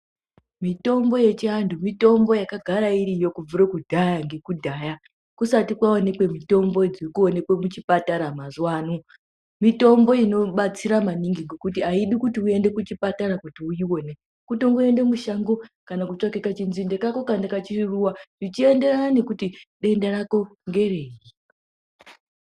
Mitombo yechiandu mitombo yanga yagara iriyo kubvira kudhaya kwekudhaya kusati kwaonekwe mitombo dziri kuonekwa muchipatara. Mazuva ano mitombo inobatsira maningi ngekuti haidi uende kuchipatara kuti uione kutongoenda mushango kana kutsvaka kachitsinde kako kana karuwa zvichienderana nekuti denda rako ngeriri.